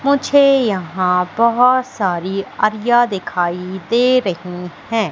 मुझे यहां बहुत सारी दिखाई दे रही हैं।